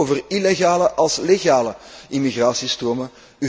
Ik heb het zowel over illegale als legale immigratiestromen.